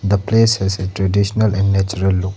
the place has a traditional and natural look.